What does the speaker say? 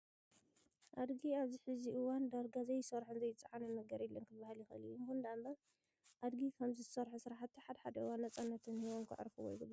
ኣድጊ ኣብዚ ሕዚ እዋን ዳርጋ ዘይሰርሖን ዘይፀዓኖን ነገር የለን ክብሃል ይክእል እዩ። ይኹን እምበር ኣድጊ ከምዚ ዝሰርሖ ስራሕቲ ሓደ ሓደ እዋን ነፃነት ሂቦም ከዕርፍዎ ይግባእ።